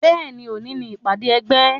Bẹ́ẹ̀ni, òní ni ìpàdé ẹgbẹ́.